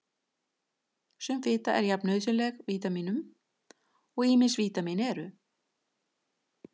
Sum fita er jafn nauðsynleg líkamanum og ýmis vítamín eru.